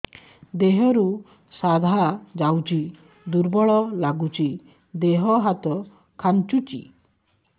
ଦେହରୁ ସାଧା ଯାଉଚି ଦୁର୍ବଳ ଲାଗୁଚି ଦେହ ହାତ ଖାନ୍ଚୁଚି